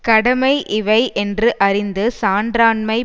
கடமை இவை என்று அறிந்து சான்றான்மை